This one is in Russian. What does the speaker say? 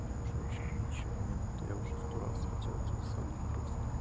мне уже вообще ничего не надо я уже сто раз хотел отсюда свалить просто